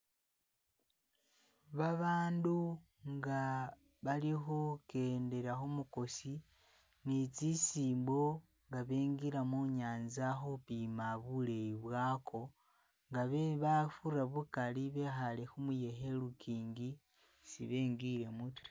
Babandu nga bali khu kendela khumukosi ni tsi simbo nga bengila munyanza khupima buleyi bwako nga abafura bukali bekhale khumuyekhe ilukingi si bengilemo ta.